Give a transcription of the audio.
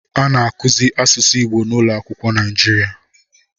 A na-akụzi asụsụ Igbo n'ụlọakwụkwọ Naịjirịa